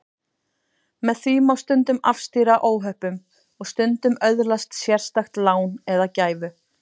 Með því má stundum afstýra óhöppum og stundum öðlast sérstakt lán eða gæfu.